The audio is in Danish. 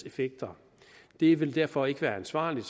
effekter det vil derfor ikke være ansvarligt